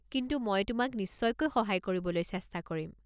কিন্তু মই তোমাক নিশ্চয়কৈ সহায় কৰিবলৈ চেষ্টা কৰিম।